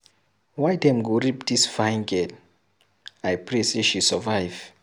Why dem go rape dis fine girl. I pray say she survive.